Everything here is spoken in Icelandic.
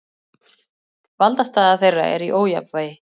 Valdastaða þeirra er í ójafnvægi.